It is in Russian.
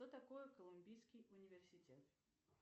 что такое колумбийский университет